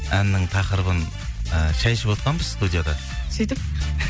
әннің тақырыбын і шәй ішіп отқанбыз студияда сөйтіп